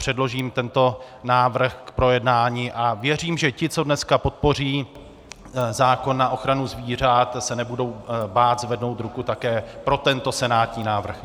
Předložím tento návrh k projednání a věřím, že ti, co dnes podpoří zákon na ochranu zvířat, se nebudou bát zvednout ruku také pro tento senátní návrh.